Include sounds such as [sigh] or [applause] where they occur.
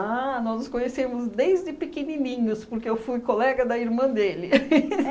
Ah, nós nos conhecemos desde pequenininhos, porque eu fui colega da irmã dele. [laughs]